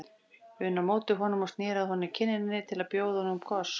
um á móti honum og sneri að honum kinninni til að bjóða honum koss.